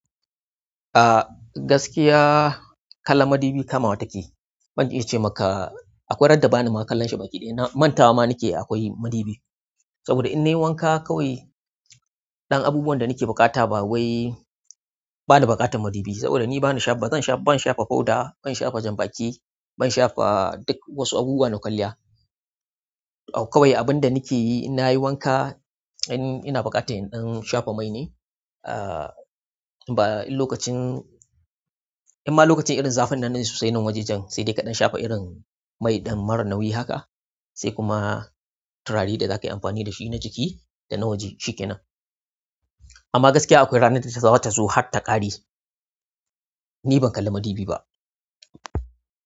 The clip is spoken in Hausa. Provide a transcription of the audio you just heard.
Ah gaskiya kallan madubi kamawa take. Ban iya ce maka akwai ran da bani ma kallon shi ba ki ɗai. Mantawa ma nike akwai madubi. Saboda in nayi wanaka kawai, ɗan abubuwan da nake buƙata ba wai bana buƙatan madubi. Saboda ni bana sha, ba zan sha, ban sha fa powder, ban sha fa janbaki, ban sha fa duk wasu abubuwa na kwalliya. Kawai abin da nike yi in nayi wanka, in ina buƙata in sha fa mai ne. Ah ba in lokacin, in ma lokacin irin zafinan na sosai na wajajen sai dai kaɗan sha fa irin mai ɗan marar nauyi haka. Sai kuma turare da zaka yi amfani da shi na jiki da na waje shikenan. Amma gaskiya akwai ranar da zata zo har ta ƙare. Ni ban kalla madubi ba.